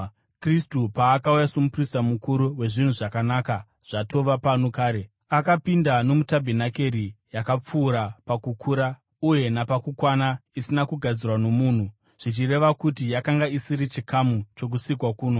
Kristu paakauya somuprista mukuru wezvinhu zvakanaka zvatova pano kare, akapinda nomutabhenakeri yakapfuura pakukura uye napakukwana isina kugadzirwa nomunhu, zvichireva kuti yakanga isiri chikamu chokusikwa kuno.